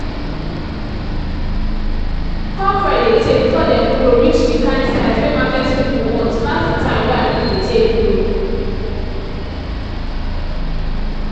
cockerel dey tay before dem grow reach the kind size wey market people want pass the time wey agric dey take grow.